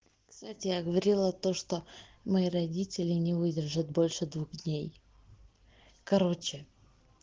кстати я говорила то что мои родители не выдержат больше двух дней короче